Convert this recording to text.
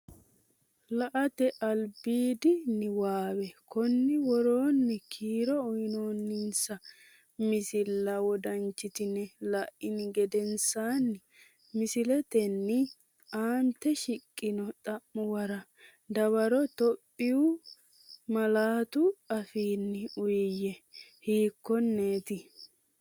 La”ate albiidi niwaawe Konni woroonni kiiro uyinoonninsa misilla wodanchitine la’ini geden saanni misillatenni aante shiqqino xa’muwara dawaro Itophiyu malaatu afiinni uuyye, hiikkonneeti?